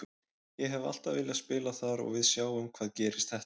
Ég hef alltaf viljað spila þar og við sjáum hvað gerist þetta árið.